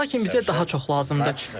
Lakin bizə daha çox lazımdır.